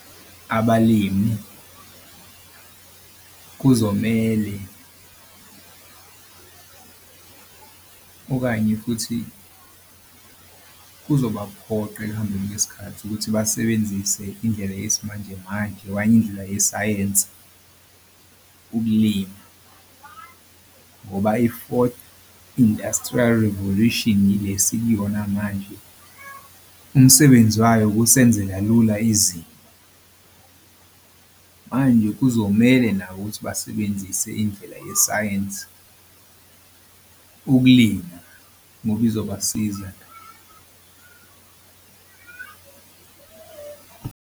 Abalimi kuzomele okanye futhi kuzobaphoqa ekuhambeni kwesikhathi ukuthi basebenzise indlela yesimanjemanje okanye indlela yesayense ukulima ngoba i-fourth industrial revolution le esikuyona manje umsebenzi wayo ukusenzela lula izimo. Manje kuzomele nabo ukuthi basebenzise indlela yesayensi ukulina ngoba izobasiza.